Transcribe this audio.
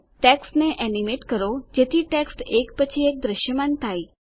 ટેક્સ્ટને એનીમેટ કરો જેથી ટેક્સ્ટ એક પછી એક દ્રશ્યમાન થાય